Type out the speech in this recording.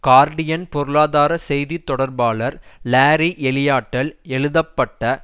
Guardian பொருளாதார செய்தி தொடர்பாளர் லாரி எலியட்டால் எழுதப்பட்ட